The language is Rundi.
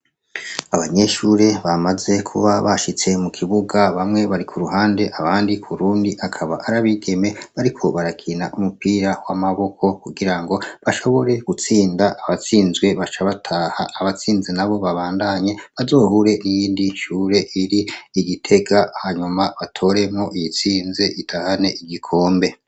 Abanyeshure bamaze kuba bashitse mu kibuga bamwe bari ku ruhande abandi ku rundi akaba arabigeme bariko barakina umupira w'amaboko kugira ngo bashobore gutsinda abatsinzwe baca bataha abatsinze na bo babandanye bazohure iyindi shure iri igitega hanyuma batoremwo iyitsinze itahane igikombe.